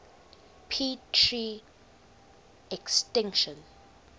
p tr extinction